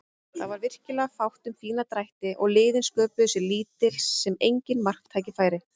Það var virkilega fátt um fína drætti og liðin sköpuðu sér lítil sem engin marktækifæri.